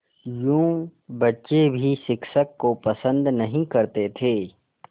यूँ बच्चे भी शिक्षक को पसंद नहीं करते थे